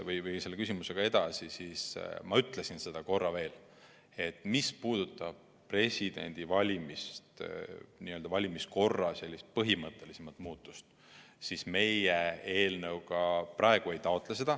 Nüüd, minnes selle küsimusega edasi, ütlen ma korra veel, et mis puudutab Vabariigi Presidendi valimist, sellist põhimõttelisemat valimiskorra muutmist, siis seda meie oma eelnõuga ei taotle.